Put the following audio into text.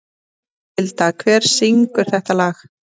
Alvilda, hver syngur þetta lag?